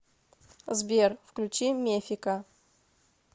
сбер включи мефика